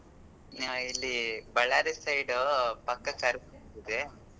ಹಾ ಇಲ್ಲಿ Ballari side ಪಕ್ಕದ ಇದೆ.